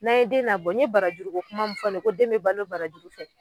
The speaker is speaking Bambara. N'an ye den nabɔ n ye barajugu ko kuma min fɔ ne ko den bɛ balo barajugu fɛ